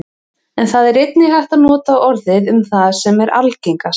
en það er einnig hægt að nota orðið um það sem er algengast